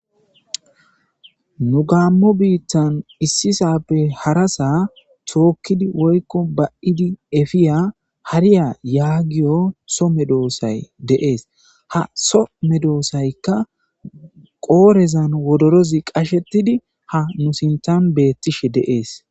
nu gaammo biittan issisappe harasa tookkidi woykko ba7idi efiya hariya yaagiyo so me doosay deees ha so me doosaykka qoorezan wodorozi qashetidi ha nu sintan beettishe deees